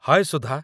ହାଏ ସୁଧା!